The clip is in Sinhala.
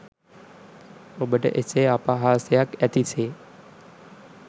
ඔබට එසේ අපහාසයක් ඇති සේ